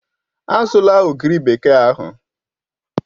Azụla ogiri bekee ahụ!